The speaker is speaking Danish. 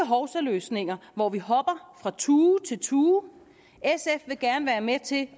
hovsaløsninger hvor vi hopper fra tue til tue sf vil gerne være med til